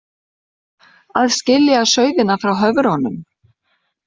Að skilja sauðina frá höfrunum